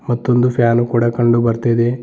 ಮತ್ತೊಂದು ಫ್ಯಾನು ಕೂಡ ಕಂಡು ಬರ್ತಾ ಇದೆ.